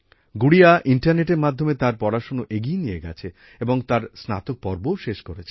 গুড়িয়া ইন্টারনেটের মাধ্যমে তাঁর পড়াশোনা এগিয়ে নিয়ে গেছে এবং তাঁর স্নাতক পর্বও শেষ করেছে